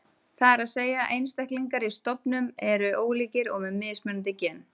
Það er að segja að einstaklingar í stofnum eru ólíkir og með mismunandi gen.